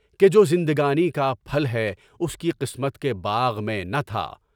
کہ جو زندگانی کا پھل ہے، اس کی قسمت کے باغ میں نہ تھا۔